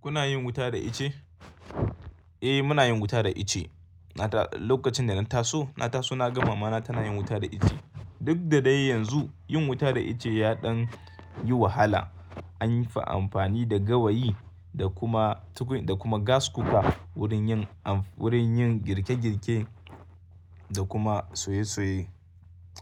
Kuna yin wuta da ice? Eh muna yin wuta da ice. Na ta lokacin da na taso, na taso na ga mamana tana yin wuta da ice. Duk da dai yanzu yin wuta da ice ya ɗan yi wahala. An yi fa amfani da gawayi da kuma tukun da kuma gas kuka wurin yin am wurin yin girke girke da kuma soye soye.